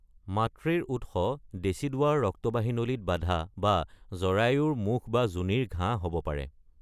মাতৃৰ উৎস ডেচিডুয়াৰ ৰক্তবাহী নলীত বাধা বা জৰায়ুৰ মুখ বা যোনিৰ ঘাঁ হ’ব পাৰে।